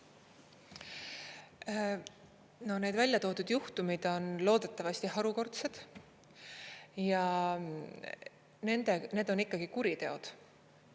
No need välja toodud juhtumid on loodetavasti harukordsed ja need on ikkagi kuriteod.